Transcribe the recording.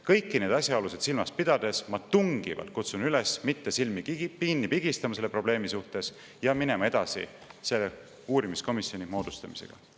Kõiki neid asjaolusid silmas pidades ma tungivalt kutsun üles mitte silmi kinni pigistama selle probleemi ees ja minema edasi selle uurimiskomisjoni moodustamisega.